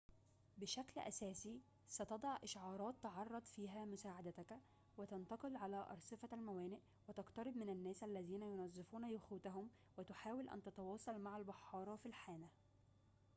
بشكل أساسي ستضع إشعارات تعرض فيها مساعدتك وتتنقّل على أرصفة الموانئ وتقترب من الناس الذين يُنظفون يخوتهم وتحاول أن تتواصل مع البحارة في الحانة إلخ